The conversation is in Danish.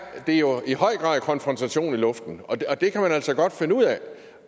der jo i høj grad konfrontation i luften og det kan man altså godt finde ud af